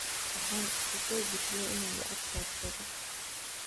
Waxan iskusobixiye inan lacag raadsadha.